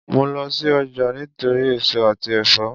Mò ń lọ sí ọjà nítorí èso àti ẹ̀fọ́